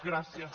gràcies